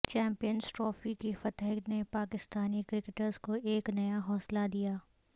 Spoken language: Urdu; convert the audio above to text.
چیمپئنز ٹرافی کی فتح نے پاکستانی کرکٹرز کو ایک نیا حوصلہ دیا ہے